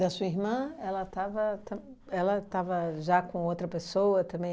E a sua irmã, ela estava tam ela estava já com outra pessoa também?